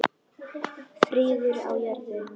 Friður á jörðu.